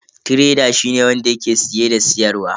Tireda shine wanda yake siye da siyarwa.